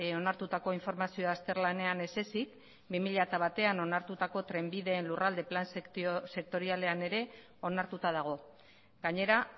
onartutako informazioa azterlanean ezezik bi mila batean onartutako trenbideen lurralde plan sektorialean ere onartuta dago gainera